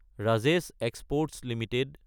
Rajesh exports Ltd